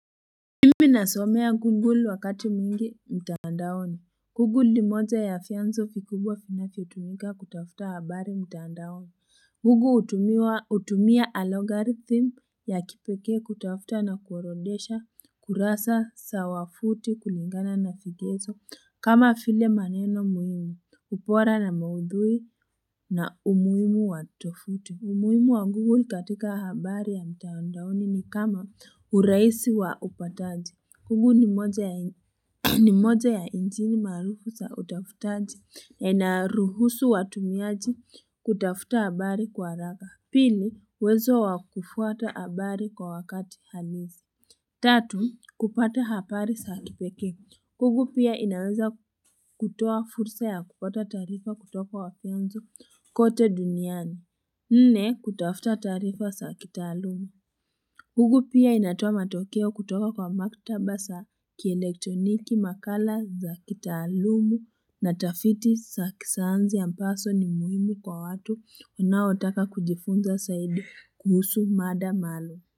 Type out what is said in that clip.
Mimi nasomea Google wakati mwingi mtandaoni. Google ni moja ya vianzo vikubwa vinavyotumika kutafuta habari mtandaoni. Google hutumia alogarithim ya kipeke kutafuta na kuorondesha kurasa sawafuti kulingana na vigezo kama vile maneno muhimu ubora na maudhui na umuhimu watofuti. Umuhimu wa Google katika habari ya mtandaoni ni kama uraisi wa upataji. Google ni moja ya njini marufu za utafutaji na inaruhusu watumiaji kutafuta habari kwa haraka. Pili, uwezo wakufuata habari kwa wakati halisi. Tatu, kupata habari za kipekee. Google pia inaweza kutoa fursa ya kupata taarifa kutoka wafianzu kote duniani. Nne, kutafuta tarifa za kitalumu. Google pia inatoa matokeo kutoka kwa maktaba za kielektroniki, makala za kitaalumu na tafitis sa kisayansi ya ambazo ni muhimu kwa watu wanaotaka kujifunza zaidi kuhusu mada malo.